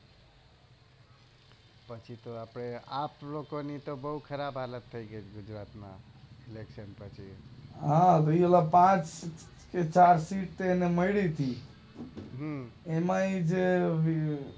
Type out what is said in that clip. બાકી તો આપડે આપ લોકો ની તો બોવ ખરાબ હાલત થઇ ગઈ છે ગુજરાત માં ઇલેકશન પછી હા ઓલા પાંચ થી ચાર સીટ મળી થી એમાંય તે